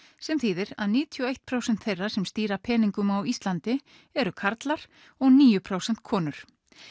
sem þýðir að níutíu og eitt prósent þeirra sem stýra peningum á Íslandi eru karlar og níu prósent konur